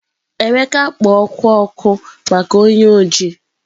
Emeka kpo oku oku maka onye oji.